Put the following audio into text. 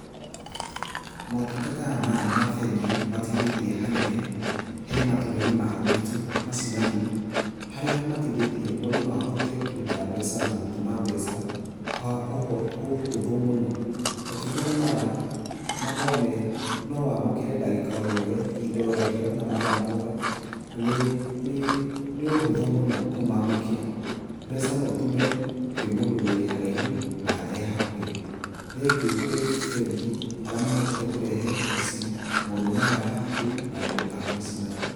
Motungata maya ma bengi nĩmateithĩtie hanene he matũra-inĩ ma gwitũ macinani, harĩa mateithĩtie mũndũ no ahote kũruta mbeca na gũtũma mbeca, kwa ũhũthũ mũno. Motungata maya makoragwo me no wamũkĩre ndagĩka o yothe, ihinda o rĩothe na mathaa mothe, na nĩ ũhũthũ mũno kũmamũkĩra. Mbeca no ũtũme kwĩ mũndũ wĩ haraihu na e hakuhĩ. Thengiũ kwĩ bengi arĩa mahotete kũrehe ici maũndũ maya hakuhĩ na andũ a macinani.